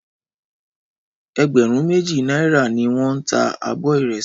Ẹgbẹ̀rún méjì náírà ni wọ́n ń ta abọ ìrẹsì